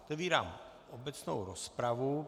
Otevírám obecnou rozpravu.